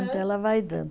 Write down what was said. Então ela vai dando.